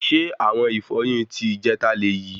Ṣe awọn ìfọyín ti ìjẹta léyì?